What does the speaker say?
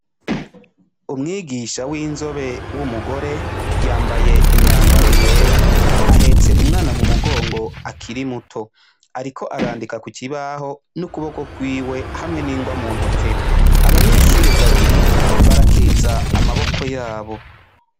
Umwigisha w'inzobe w'umugore, yambaye imyambaro yera ahetse umwana mumugongo akiri muto, ariko arandika kukibaho nukuboko kwiwe hamwe n'ingwa muntoke, abanyeshure babiri barakiriza amaboko yabo.